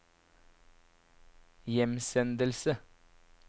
hjemsendelse